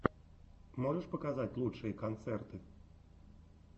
можешь показать лучшие концерты